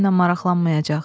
mənlə maraqlanmayacaq.